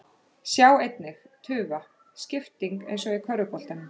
Sjá einnig: Tufa: Skipting eins og í körfuboltanum